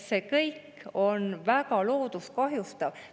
See kõik on väga loodust kahjustav.